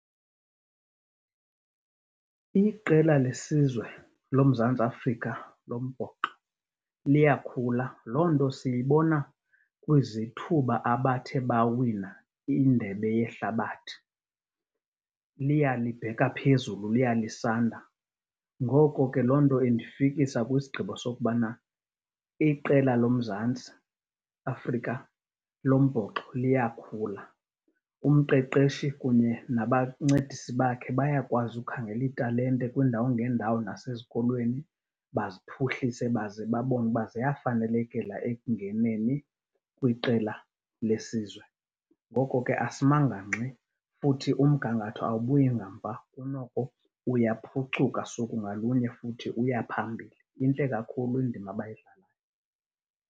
Iqela lesizwe loMzantsi Afrika lombhoxo liyakhula. Loo nto siyibona kwizithuba abathe bawina indebe yehlabathi, liya libheka phezulu, liya lisanda. Ngoko ke loo nto indifikisa kwisigqibo sokubana iqela loMzantsi Afrika lombhoxo liyakhula. Umqeqeshi kunye nabancedisi bakhe bayakwazi ukhangela iitalente kwiindawo ngeendawo nasezikolweni baziphuhlise baze babone uba ziyafanelekela ekungeneni kwiqela lesizwe. Ngoko ke asimanga ngxi futhi umgangatho awubuyi ngamva, kunoko uyaphucuka suku ngalunye futhi uya phambili. Intle kakhulu indima abayidlalayo.